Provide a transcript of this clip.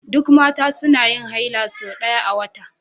Duk Mata suna yin haila sau ɗaya a wata